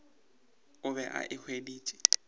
o be a e hweditše